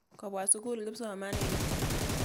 Kopwa sukul kipsomaninik.